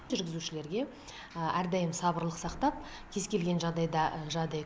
жүргізушілерге әрдайым сабырлық сақтап кез келген жағдайда жаңағыдай